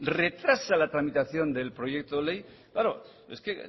retrasa la tramitación de la proyecto de ley claro es que